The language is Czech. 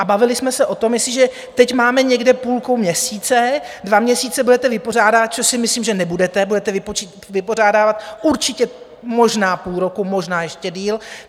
A bavili jsme se o tom, jestliže teď máme někde půlku měsíce, dva měsíce budete vypořádávat, což si myslím, že nebudete, budete vypořádávat určitě možná půl roku, možná ještě déle.